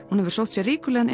hún hefur sótt sér ríkulegan